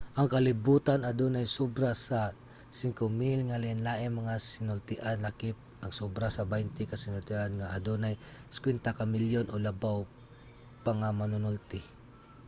ang kalibutan adunay sobra sa 5,000 nga lainlaing mga sinultian lakip ang sobra sa baynte ka sinultihan nga adunay 50 ka milyon o labaw pa nga mga manunulti